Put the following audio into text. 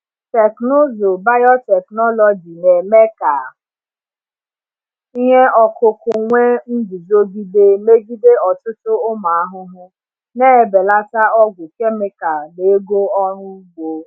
Teknụzụ biotechnology na-eme ka ihe ọkụkụ nwee nguzogide megide ọtụtụ ụmụ ahụhụ, na-ebelata ọgwụ kemikal na ego ọrụ ugbo.